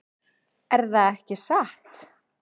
Erða ekki satt?